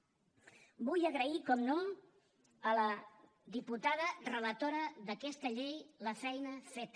vull agrair per descomptat a la diputada relatora d’aquesta llei la feina feta